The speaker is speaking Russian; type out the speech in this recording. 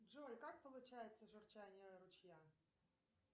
джой как получается журчание ручья